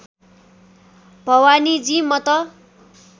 भवानीजी म त